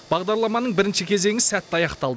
бағдарламаның бірінші кезеңі сәтті аяқталды